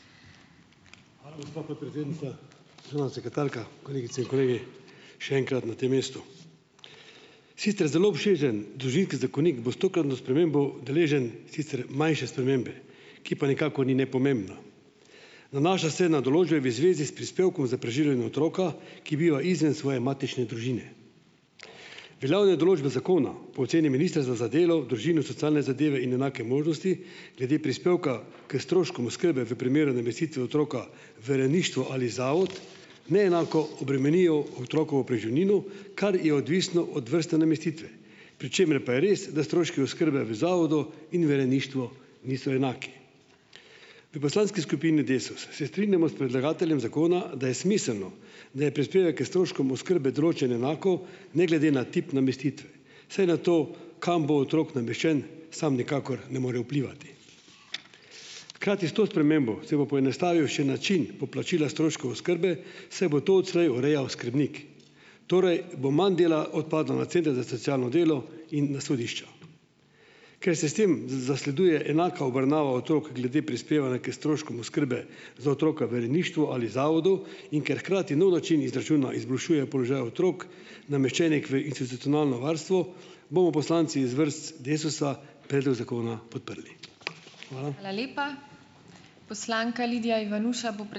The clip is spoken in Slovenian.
Hvala, gospa podpredsednica. sekretarka! Kolegice in kolegi! Še enkrat na tem mestu. Sicer zelo obširen Družinski zakonik bo s tokratno spremembo deležen sicer manjše spremembe, ki pa nikakor ni nepomembna. Nanaša se na določbe v zvezi s prispevkom za preživljanje otroka, ki biva izven svoje matične družine. Glavne določbe zakona po oceni Ministrstva za delo, družino, socialne zadeve in enake možnosti glede prispevka k stroškom oskrbe v primeru namestitve otroka v rejništvo ali zavod neenako obremenijo otrokovo preživnino, kar je odvisno od vrste namestitve. Pri čemer pa je res, da stroški oskrbe v zavodu in v rejništvu niso enaki. V poslanski skupini Desus se strinjamo s predlagateljem zakona, da je smiselno, da je prispevek k stroškom oskrbe določen enako, ne glede na tip namestitve, saj na to kam bo otrok nameščen sam nikakor ne more vplivati. Hkrati s to spremembo se bo poenostavil še način poplačila stroškov oskrbe, saj bo to odslej urejal skrbnik. Torej, bo manj dela odpadlo na center za socialno delo in na sodišča. Ker sistem zasleduje enako obravnavo otrok glede prispevanja k stroškom oskrbe za otroka v rejništvu ali zavodu in ker hkrati nov način izračuna izboljšuje položaj otrok, nameščenih v institucionalno varstvo, bomo poslanci iz vrst Desusa predlog zakona podprli.